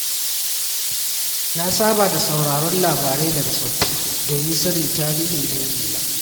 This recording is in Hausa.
Na saba da sauraron labarai daga tsofaffi domin sanin tarihin dangina.